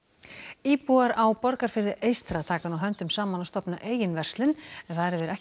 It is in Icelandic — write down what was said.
íbúar á Borgarfirði eystra taka nú höndum saman og stofna eigin verslun en þar hefur ekki